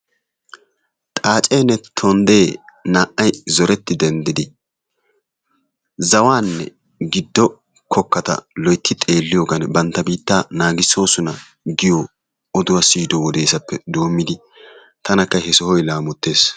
Xaaccenne tondde naa"ay zoreti denddiddi giddo kokkata loytti xeeliyogan biittaa naagissoosona giyo oduwa siyiddo wodesappe dommidi tanakka he sohoy laamottees.